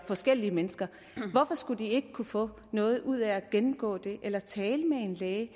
forskellige mennesker hvorfor skulle de ikke kunne få noget ud af at gennemgå det eller tale med en læge